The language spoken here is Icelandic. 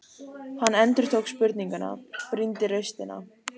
Hann endurtók spurninguna, brýndi raustina.